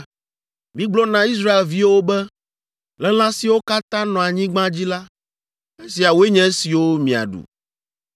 “Migblɔ na Israelviwo be, ‘Le lã siwo katã nɔa anyigba dzi la, esiawoe nye esiwo miaɖu.